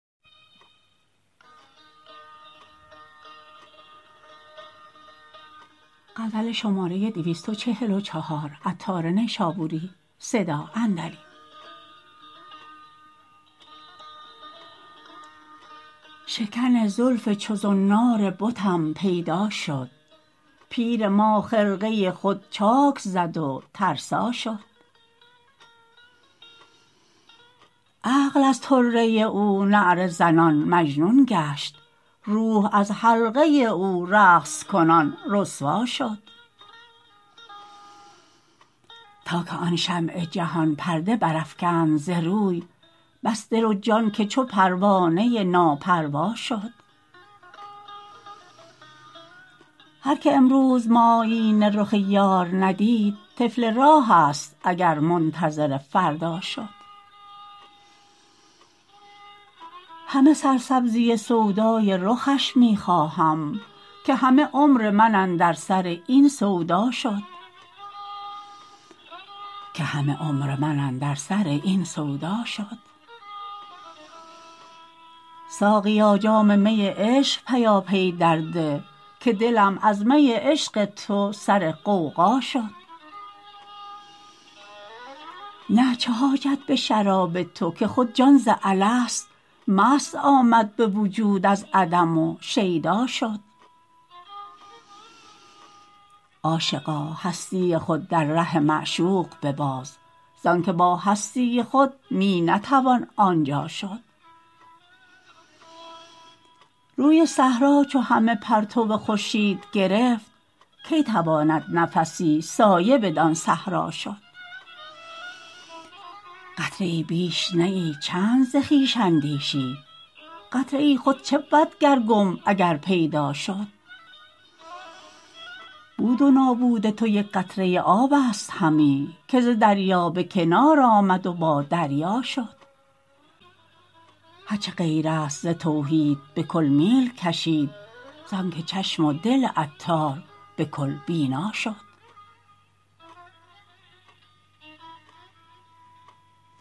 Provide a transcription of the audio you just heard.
شکن زلف چو زنار بتم پیدا شد پیر ما خرقه خود چاک زد و ترسا شد عقل از طره او نعره زنان مجنون گشت روح از حلقه او رقص کنان رسوا شد تا که آن شمع جهان پرده برافکند از روی بس دل و جان که چو پروانه نا پروا شد هر که امروز معایینه رخ یار ندید طفل راه است اگر منتظر فردا شد همه سرسبزی سودای رخش می خواهم که همه عمر من اندر سر این سودا شد ساقیا جام می عشق پیاپی درده که دلم از می عشق تو سر غوغا شد نه چه حاجت به شراب تو که خود جان ز الست مست آمد به وجود از عدم و شیدا شد عاشقا هستی خود در ره معشوق بباز زانکه با هستی خود می نتوان آنجا شد روی صحرا چو همه پرتو خورشید گرفت کی تواند نفسی سایه بدان صحرا شد قطره ای بیش نه ای چند ز خویش اندیشی قطره ای چبود اگر گم شد و گر پیدا شد بود و نابود تو یک قطره آب است همی که ز دریا به کنار آمد و با دریا شد هرچه غیر است ز توحید به کل میل کشم زانکه چشم و دل عطار به کل بینا شد